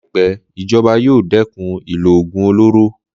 Láìpẹ́, ìjọba yóò dẹ́kun ìlò ògùn olóró